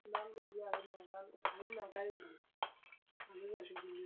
ntipikambekun inono enkare anaake ampaka nenyoraa aibung enkop